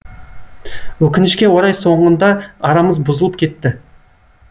өкінішке орай соңында арамыз бұзылып кетті